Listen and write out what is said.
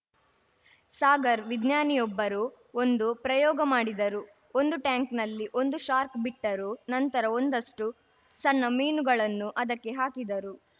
ಸಾಗರ್ ವಿಜ್ಞಾನಿಯೊಬ್ಬರು ಒಂದು ಪ್ರಯೋಗ ಮಾಡಿದರು ಒಂದು ಟ್ಯಾಂಕ್‌ನಲ್ಲಿ ಒಂದು ಶಾರ್ಕ್ ಬಿಟ್ಟರು ನಂತರ ಒಂದಷ್ಟುಸಣ್ಣ ಮೀನುಗಳನ್ನು ಅದಕ್ಕೆ ಹಾಕಿದರು